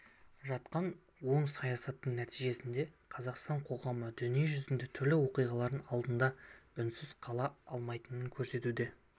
жатқан оң саясаттың нәтижесінде қазақстан қоғамы дүние жүзіндегі түрлі оқиғалар алдында үнсіз қала алмайтынын көрсетуде